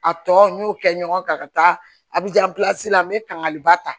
A tɔ n y'o kɛ ɲɔgɔn kan ka taa a bi jan la n bɛ kangariba ta